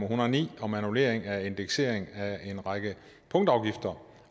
hundrede og ni om annullering af indeksering af en række punktafgifter